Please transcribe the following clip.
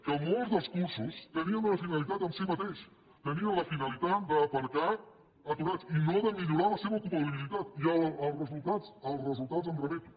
que molts dels cursos tenien una finalitat en si mateix tenien la finalitat d’aparcar aturats i no de millorar la seva ocupabilitat i als resultats em remeto